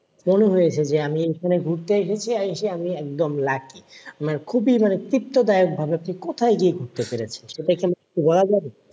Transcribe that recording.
মনে হয়েছে যে আমি এখানে ঘুরতে এসেছি এসে আমি একদম lucky মানে খুবই মানে তৃপ্তদায়কভাবে আপনি কোথায় গিয়ে বুঝতে পেরেছেন সেটা কি আমাকে একটু বলা যাবে?